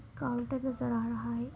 Counter नजर आ रहा है।